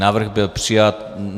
Návrh byl přijat.